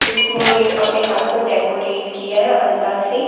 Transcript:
उसने अपने हाथ को डेकोरेट किया है अलता से।